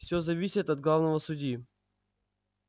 всё зависит от главного судьи